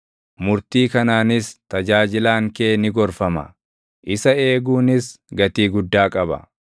Murtii kanaanis tajaajilaan kee ni gorfama; isa eeguunis gatii guddaa qaba.